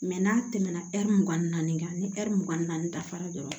n'a tɛmɛna mugan ni naani kan ni mugan ni naani dafara dɔrɔn